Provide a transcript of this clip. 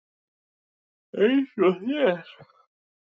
Eins og þér.